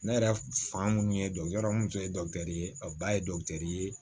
Ne yɛrɛ fan minnu ye mun tun ye ye a ba ye ye